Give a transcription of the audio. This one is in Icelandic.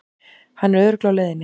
Hann er örugglega á leiðinni.